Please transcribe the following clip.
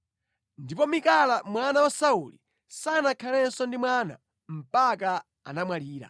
Ndipo Mikala mwana wa Sauli sanakhalenso ndi mwana mpaka anamwalira.